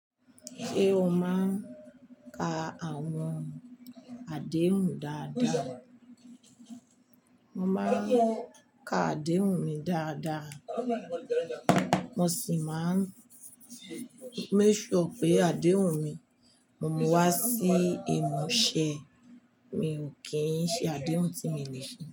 Ṣé o máa ń ka àwọn àdéhùn dáadáa? Mo máa ń ka àdéhùn mi dáadáa, mo sì máa ń make sure pé àdéhùn mi, mo mú wá sí ìmúṣẹ mi ò kí ń ṣe àdéhùn tí mi lè ṣe.